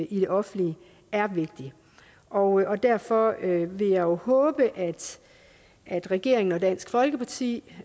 i det offentlige er vigtig og derfor vil jeg jo håbe at regeringen og dansk folkeparti